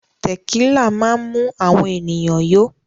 Tẹ̀kílà máa ń mú àwọn ènìyàn yó.